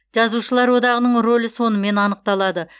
жазушылар одағының рөлі сонымен анықталады